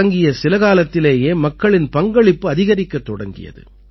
தொடங்கிய சில காலத்திலேயே மக்களின் பங்களிப்பு அதிகரிக்கத் தொடங்கியது